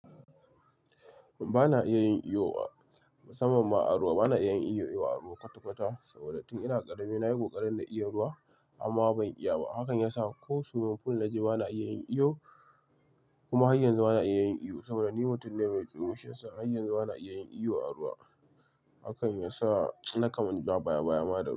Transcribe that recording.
Ba na iya yin iyo musamman ma a ruwa. Ba na iya yin iyo a ruwa kwata-kwata saboda tun ina ƙarami na yi ƙoƙarin na iya ruwa amma ban iya ba. Hakan ya sa ko swiming pool na ji ba na iya yin iyo kuma har yanzu ba na iya yin iyo saboda ni mutum ne mai tsoro. Shiyasa, har yanzu ba na iya yin iyo a ruwa. Hakan ya sa na kaman dan baya-baya ma da.